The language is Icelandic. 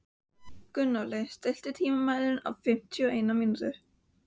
Gunnóli, stilltu tímamælinn á fimmtíu og eina mínútur.